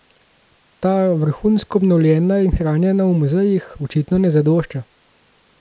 Ta, vrhunsko obnovljena in hranjena v muzejih, očitno ne zadošča.